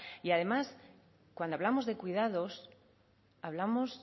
y además cuando hablamos de cuidados hablamos